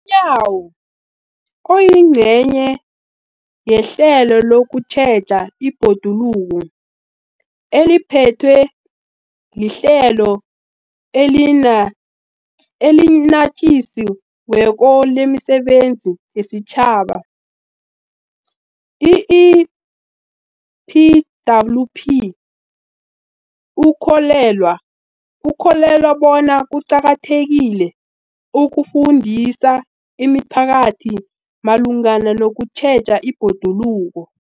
yawo, oyingcenye yehlelo lokutjheja ibhoduluko eliphethwe liHlelo eliNatjisi weko lemiSebenzi yesiTjhaba, i-EPWP, ukholelwa bona kuqakathekile ukufundisa imiphakathi malungana nokutjheja ibhoduluko.